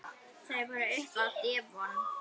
Þeir voru uppi á devon.